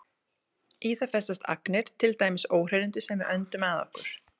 Í það festast agnir, til dæmis óhreinindi sem við öndum að okkur.